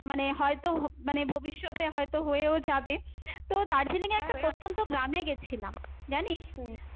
মানে হয়তো মানে ভবিষ্যতে হয়তো হয়েও যাবে তো, দার্জিলিং এ একটা প্রত্যন্ত গ্রামে গেছিলাম, জানিস?